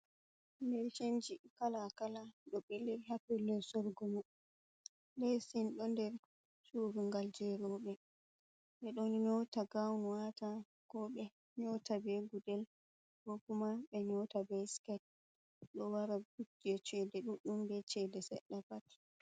Leesinji kalaa kalaa ɗo ɓili haa pellel soorugo, leesin ɗo nder cuurungal jey rooɓe ɓe ɗon nyoota ngan waata koo ɓe nyoota bee gudel koo kuma ɓe nyota bee siket, ɗo mara jey ceede ɗuɗɗum bee ceede seɗɗa pat.